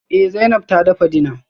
Eh Zainab ta dafa dinner